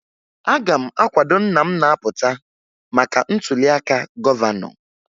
Aga m akwado nna m na-apụta maka ntụliaka gọvanọ